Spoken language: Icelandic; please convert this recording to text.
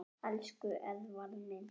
Elsku Eðvarð minn.